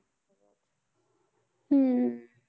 हम्म